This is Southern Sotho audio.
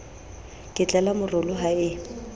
ke tlala morolo ha e